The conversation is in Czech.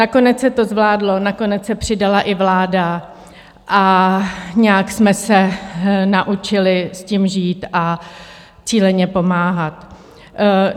Nakonec se to zvládlo, nakonec se přidala i vláda a nějak jsme se naučili s tím žít a cíleně pomáhat.